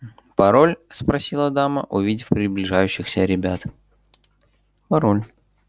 пароль спросила дама увидев приближающихся ребят пароль